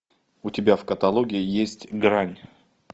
у тебя в каталоге есть грань